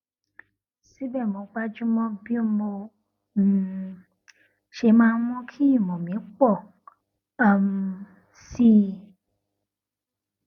síbè mo gbájú mó bí mo um ṣe máa mú kí ìmọ mi pọ um sí i